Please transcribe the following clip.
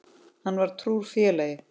Hann var trúr félagi.